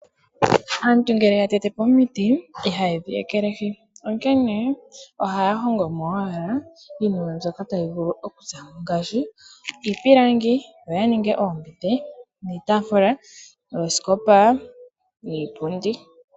Aantu ngele yatetepo omiti, ihayedhi ekelehi. Onkene ohaya hongomo owala iinima mbyoka tayi vulu okuzamo ngaashi; iipilangi, yo yaninge oombete, iitaafula, oosikopa niipundi.